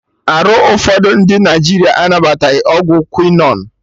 Arụ ụfọdụ ndị Naịjirịa anabataghị ọgwụ quinon